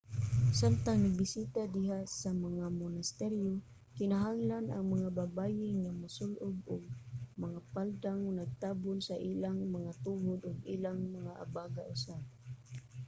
samtang nagbisita diha sa mga monasteryo kinahanglan ang mga babaye nga mosul-ob og mga paldang nagtabon sa ilang mga tuhod ug ang ilang mga abaga usab